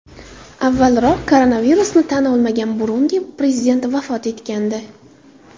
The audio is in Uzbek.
Avvalroq koronavirusni tan olmagan Burundi prezidenti vafot etgandi .